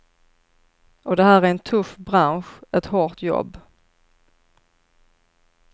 Och det här är en tuff bransch, ett hårt jobb.